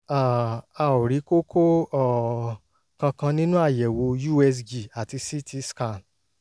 um a ò rí kókó um kankan nínú àyẹ̀wò usg àti ct scan